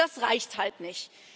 Das reicht halt nicht.